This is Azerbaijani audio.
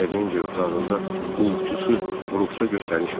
Terrencə otağında qulluqçusu Bruksa göstəriş verdi.